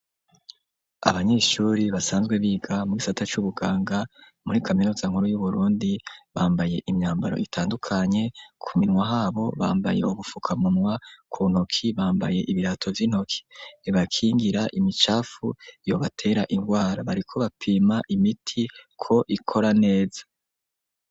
Abanyeshuri, basanzwe biga mu gisata c'ubuganga, muri kaminuza nkuru, y'Uburundi, bambaye imyambaro itandukanye; ku minwa habo, bambaye ubufukamunwa, ku ntoki, bambaye ibirato vy'intoki, bibakingira imicafu, yobatera ingwara; bariko bapima imiti, ko ikora neza.